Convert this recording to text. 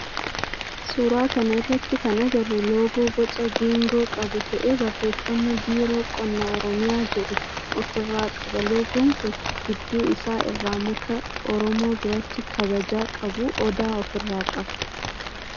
Suuraa kana irratti kan agarru loogoo boca geengoo qabu ta'ee barreeffama biiroo qonna oromiyaa jedhu of irraa qaba. Loogoon kun gidduu isaa irraa muka oromoo biratti kabaja qabu odaa of irraa qaba.